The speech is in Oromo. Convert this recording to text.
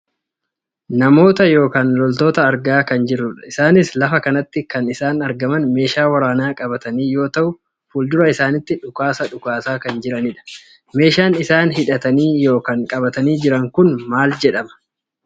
Namoota yookaan loltoota argaa kan jirrudha. Isaanis lafa kanatti kan isaan argaman meeshaa waraanaa qabatanii yoo ta'u fuuldura isaaniitti dhukaasa dhukaasaa kan jiranidha. Meeshaan isaan hidhatanii yookaan qabatanii jiran kun maal jedhama?